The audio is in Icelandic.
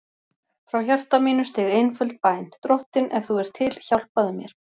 Frá hjarta mínu steig einföld bæn: Drottinn, ef þú ert til, hjálpaðu mér.